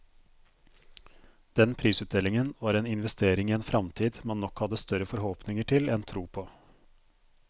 Den prisutdelingen var en investering i en fremtid man nok hadde større forhåpninger til enn tro på.